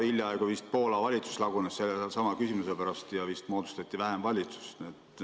Hiljaaegu vist lagunes Poola valitsus sellesama küsimuse pärast ja moodustati vähemusvalitsus.